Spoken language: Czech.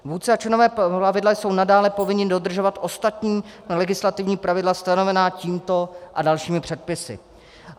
Vůdce a členové plavidla jsou nadále povinni dodržovat ostatní legislativní pravidla stanovená tímto a dalšími předpisy.